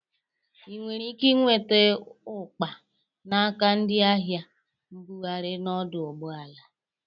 Ị nwere ike inweta ụkpa n'aka ndị ahịa mbụgharị n'ọdụ ụgbọala.